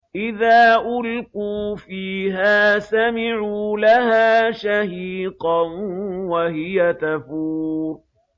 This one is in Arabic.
إِذَا أُلْقُوا فِيهَا سَمِعُوا لَهَا شَهِيقًا وَهِيَ تَفُورُ